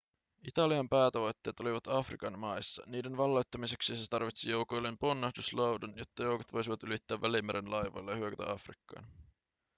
italian päätavoitteet olivat afrikan maissa niiden valloittamiseksi se tarvitsi joukoilleen ponnahduslaudan jotta joukot voisivat ylittää välimeren laivoilla ja hyökätä afrikkaan